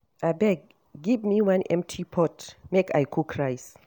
Abeg give me one empty pot make I cook rice